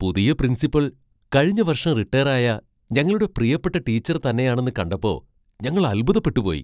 പുതിയ പ്രിൻസിപ്പൽ കഴിഞ്ഞ വർഷം റിട്ടേറായ ഞങ്ങളുടെ പ്രിയപ്പെട്ട ടീച്ചർ തന്നെയാണെന്ന് കണ്ടപ്പോ ഞങ്ങൾ അൽഭുതപ്പെട്ടു പോയി .